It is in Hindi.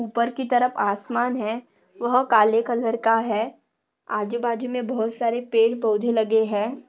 उपर की तरफ आसमान है। वह काले कलर का है। आजू बाजू मे बहुत सारे पेड़ पौधे लगे है।